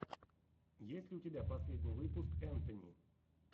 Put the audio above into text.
есть ли у тебя последний выпуск энтони